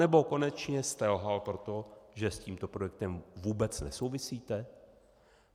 Anebo konečně jste lhal proto, že s tímto projektem vůbec nesouvisíte?